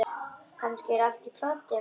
Kannski er allt í plati.